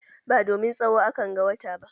Ba domin tsawo a kan ga wata ba.